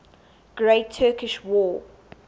great turkish war